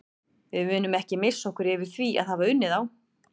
Við munum ekki missa okkur yfir því að hafa unnið þá.